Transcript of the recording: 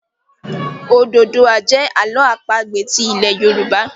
Ododuwa jẹ Àló̩ àpagbè ti ilè yorùbá.